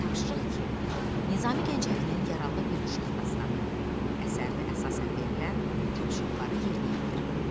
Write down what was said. Tapşırıq iki: Nizami Gəncəvinin "Yaralı bir uşaq dastanı" əsərinə əsasən verilən tapşırıqları yerinə yetir.